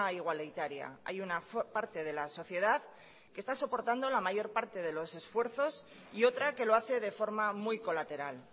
igualitaria hay una parte de la sociedad que está soportando la mayor parte de los esfuerzos y otra que lo hace de forma muy colateral